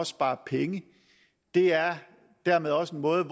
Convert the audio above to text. spare penge det er dermed også en måde